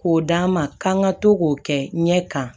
K'o d'an ma k'an ka to k'o kɛ ɲɛ kan